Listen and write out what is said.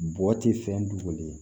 Bɔ ti fɛn dogolen